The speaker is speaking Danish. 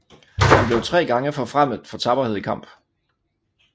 Han blev 3 gange forfremmet for tapperhed i kamp